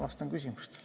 Vastan küsimustele.